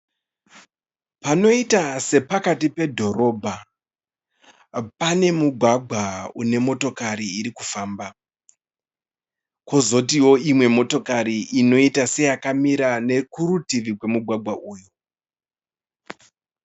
Panoita sepakati pedhorobha pane mugwagwa une motokari iri kufamba, kozotiwo imwe motokari inoiita seyakamira nekurutivi rwemugwagwa uyu.